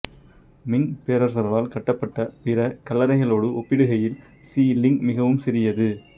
Ming பேரரசர்களால் கட்டப்பட்ட பிற கல்லறைகளோடு ஒப்பிடுகையில் சி லிங் மிகவும் சிறியது